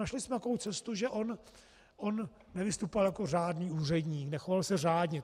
Našli jsme takovou cestu, že on nevystupoval jako řádný úředník, nechoval se řádně.